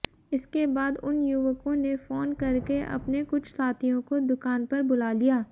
इसके बाद उन युवकों ने फोन करके अपने कुछ साथियों को दुकान पर बुला लिया